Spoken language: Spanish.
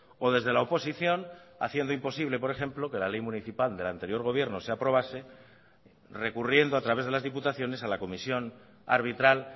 o desde la oposición haciendo imposible por ejemplo que la ley municipal del anterior gobierno se aprobase recurriendo a través de las diputaciones a la comisión arbitral